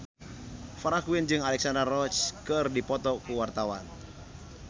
Farah Quinn jeung Alexandra Roach keur dipoto ku wartawan